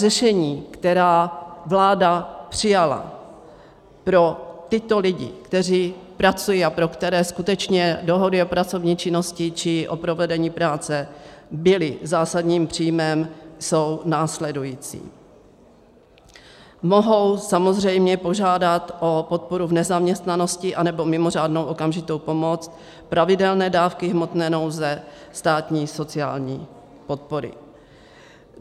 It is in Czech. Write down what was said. Řešení, která vláda přijala pro tyto lidi, kteří pracují a pro které skutečně dohody o pracovní činnosti či o provedení práce byly zásadním příjmem, jsou následující: mohou samozřejmě požádat o podporu v nezaměstnanosti anebo mimořádnou okamžitou pomoc, pravidelné dávky hmotné nouze státní sociální podpory.